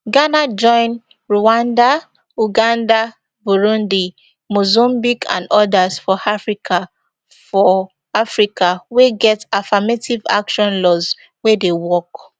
ghana join rwanda uganda burundi mozambique and odas for africa for africa wey get affirmative action laws wey dey work